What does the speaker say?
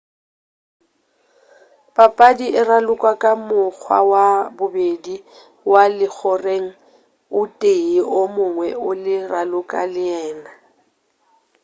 papadi e ralokwa ka mokgwa wa bobedi wa legoreng o tee o mongwe a le raloka le yena